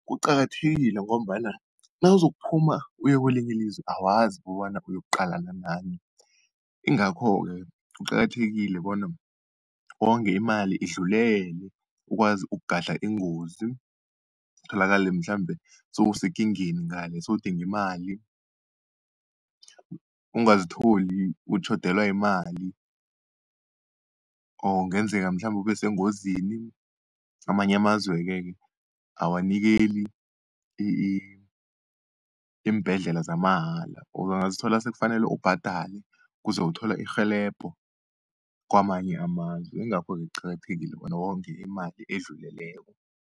Kuqakathekile ngombana nawuzokuphuma uye kelinye ilizwe, awazi kobana uyokuqalana nani. Ingakho-ke kuqakathekile bona wonge imali idlulele, ukwazi ukugadla ingozi tholakale mhlambe sewusekingeni ngale sowudinga imali, ungazitholi utjhodelwa yimali or kungenzeka mhlambe ube sengozini. Amanye amazweke-ke awanikeli iimbhedlela zamahala, or bangazithola sekufanele ubhadale kuze uthole irhelebho kamanye amazwe. Ingakho-ke kuqakathekile bona wonge imali edluleleko.